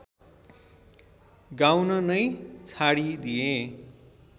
गाउन नै छाडिदिए